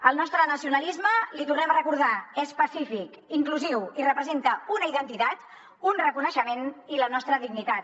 el nostre nacionalisme l’hi tornem a recordar és pacífic inclusiu i representa una identitat un reconeixement i la nostra dignitat